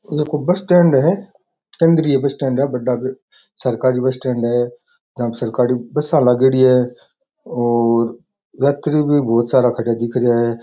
एक ओ bus stand है केंद्रीय बस स्टैंड है बढ़ा सरकारी बस स्टैंड है जहां सरकारी बसा लागयोड़ी है और यात्री भी बहुत सारा खडा दिख रिया हैं।